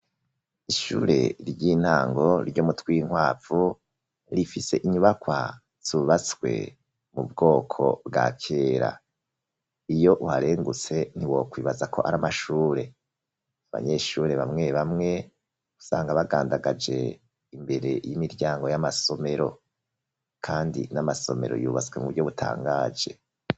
Ishure ry'intango ryo mu Twinkwavu rifise inyubakwa zubatswe mu bwoko bwa kera. Iyo uharengutse ntiwokwibaza ko ari amashure. Abanyeshure bamwe bamwe usanga bagandagaje imbere y'imiryango y'amasomero, kandi n'amasomero yubatswe mu buryo butangaje.